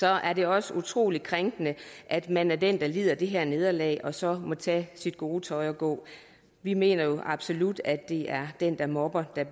er det også utrolig krænkende at man er den der lider det her nederlag og så må tage sit gode tøj og gå vi mener jo absolut at det er den der mobber der